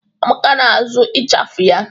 Amaka na-asụ ịchafụ ya.